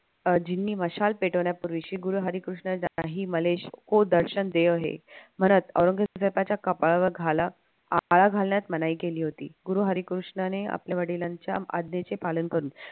अजीनी मशाल पेटवण्यापूर्वी श्री गुरु हरिकृष्ण म्हणत औरंगजेबाच्या कपाळावर आळा घालण्यात मनाई केली होती गुरु हरी कृष्णाने आपल्या वडिलांच्या आज्ञेचे पालन करून